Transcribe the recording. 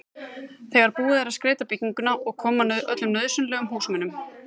þegar búið er að skreyta bygginguna og koma fyrir öllum nauðsynlegum húsmunum.